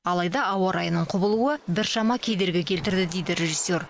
алайда ауа райының құбылуы біршама кедергі келтірді дейді режиссер